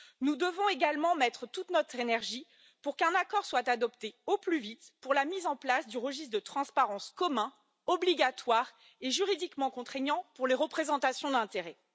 Nous devons également mettre toute notre énergie pour qu'un accord soit adopté au plus vite pour la mise en place du registre de transparence commun obligatoire et juridiquement contraignant pour les représentations d'intérêt.